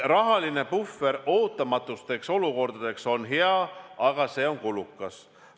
Rahaline puhver ootamatuteks olukordadeks on hea, aga see on kulukas.